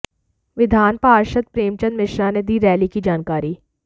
विधान पार्षद प्रेमचंद्र मिश्रा ने दी रैली की जानकारी